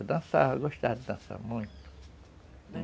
Eu dançava, eu gostava de dançar muito...